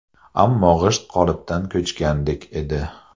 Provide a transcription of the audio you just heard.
Ammo g‘isht qolipdan ko‘chgandek edi.